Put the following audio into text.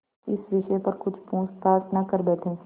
इस विषय पर कुछ पूछताछ न कर बैठें